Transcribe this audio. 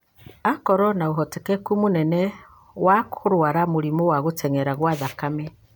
Akorũo na ũhotekeku mũnene wa kũrũara mũrimũ wa gũtenyera gwa thakame.